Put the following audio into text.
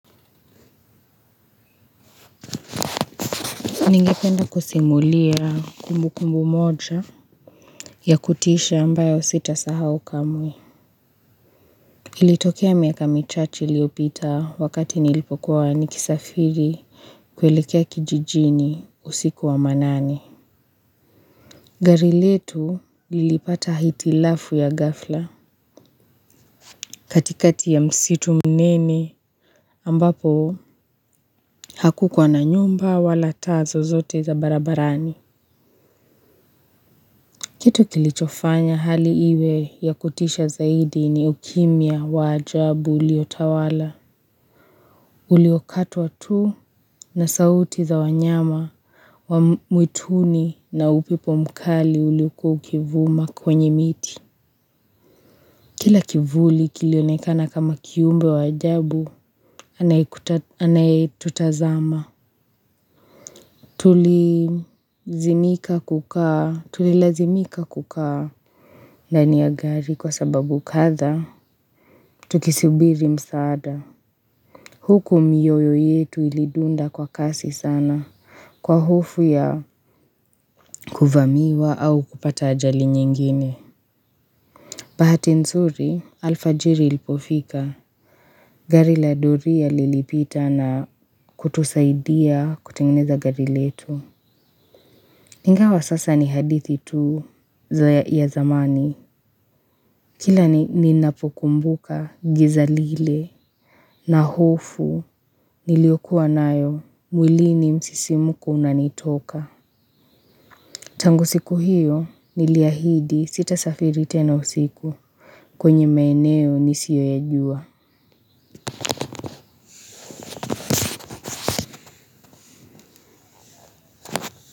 Ningependa kusimulia kumbu kumbu moja ya kutisha ambayo sita sahau kamwe. Ilitokea miaka michache iliopita wakati nilipokuwa nikisafiri kuelekea kijijini usiku wa manani. Gari letu lilipata hitilafu ya gafla katikati ya msitu mnene ambapo haku kuwa na nyumba wala taa zozote za barabarani. Kitu kilichofanya hali iwe ya kutisha zaidi ni ukimia wa ajabu uliotawala. Uliokatwa tu na sauti za wanyama wa mwituni na upepo mkali uliokua ukivuma kwenye miti. Kila kivuli kilionekana kama kiumbe wajabu anayetutazama. Tulizimika kukaa tulilazimika kukaa. Ndani ya gari kwa sababu katha, tukisubiri msaada. Huku miyoyo yetu ilidunda kwa kasi sana kwa hofu ya kuvamiwa au kupata ajali nyingine. Bahati nzuri, alfajiri ilipofika. Gari la doria lilipita na kutusaidia kutengineza gari letu. Ingawa sasa ni hadithi tu ya zamani. Kila ni ninapo kumbuka giza lile na hofu niliokuwa nayo mwilini msisimuko unanitoka. Tangu siku hiyo niliahidi sita safiri tena usiku kwenye maeneo nisioyajua.